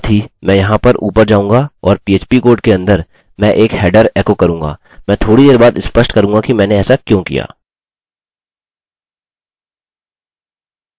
और साथ ही मैं यहाँ ऊपर जाऊँगा और php कोड के अंदर मैं एक हेडर एको करूँगा मैं थोड़ी देर बाद स्पष्ट करूँगा कि मैंने ऐसा क्यों किया